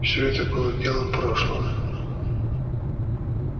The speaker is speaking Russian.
всё это было делом прошлого